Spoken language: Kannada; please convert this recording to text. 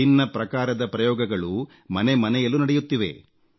ವಿಭಿನ್ನ ಪ್ರಕಾರದ ಪ್ರಯೋಗಗಳು ಮನೆ ಮನೆಯಲ್ಲೂ ನಡೆಯುತ್ತಿವೆ